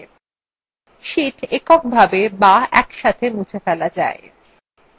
sheets এককভাবে be একসাথে মুছে ফেলা যায়